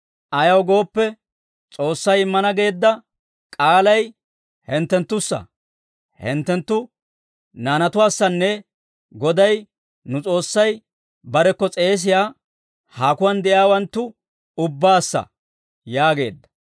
Ayaw gooppe, S'oossay immana geedda k'aalay hinttenttussa, hinttenttu naanatuwaassanne Goday nu S'oossay barekko s'eesiyaa haakuwaan de'iyaawanttu ubbaassa» yaageedda.